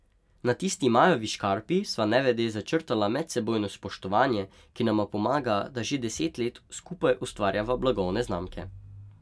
Na tisti majavi škarpi sva nevede začrtala medsebojno spoštovanje, ki nama pomaga, da že deset let skupaj ustvarjava blagovne znamke.